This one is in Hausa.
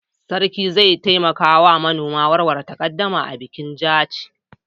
Sarki zai taimaka wa manoman warware takaddama a bikin Jaci.